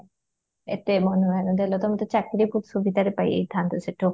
ଏତେ ମନ ଧ୍ୟାନ ଦେଲ ତମେ ତ ଚାକିରି ସୁବିଧାରେ ପାଇ ଯାଇଥାନ୍ତ ସେଠୁ